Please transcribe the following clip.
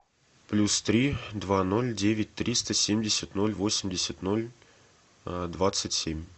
плюс три два ноль девять триста семьдесят ноль восемьдесят ноль двадцать семь